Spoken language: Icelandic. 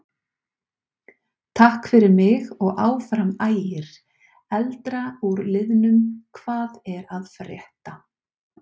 Takk fyrir mig og Áfram Ægir.Eldra úr liðnum Hvað er að frétta?